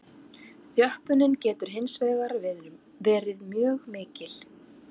Þjöppunin getur hins vegar verið mjög mikil.